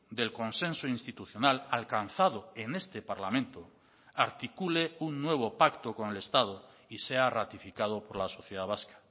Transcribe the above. del consenso institucional alcanzado en este parlamento articule un nuevo pacto con el estado y sea ratificado por la sociedad vasca